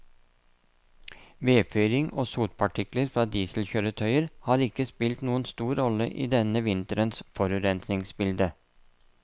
Vedfyring og sotpartikler fra dieselkjøretøyer har ikke spilt noen stor rolle i denne vinterens forurensningsbilde.